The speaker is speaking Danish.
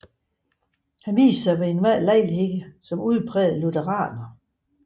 Han viste sig ved enhver lejlighed som udpræget lutheraner